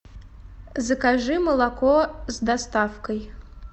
закажи молоко с доставкой